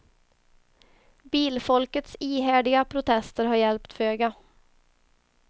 Bilfolkets ihärdiga protester har hjälpt föga.